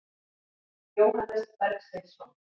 Jóhannes Bergsveinsson.